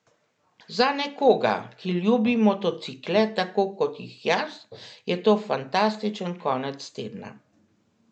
Za nekoga, ki ljubi motocikle tako kot jih jaz, je to fantastičen konec tedna.